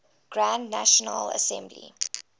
grand national assembly